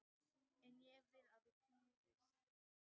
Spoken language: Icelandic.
En ég vil að þú hvílist.